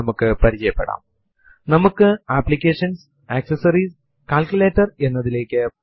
ഒരു ടെർമിനൽ തുറക്കുന്നതിനുള്ള നടപടിക്രമം മുൻപേതന്നെ മറ്റൊരു സ്പോക്കൻ ട്യൂട്ടോറിയൽ ലിൽ വിശദീകരിച്ചിട്ടുള്ളതാണ്